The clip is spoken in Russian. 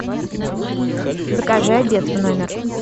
закажи обед в номер